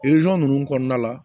ninnu kɔnɔna la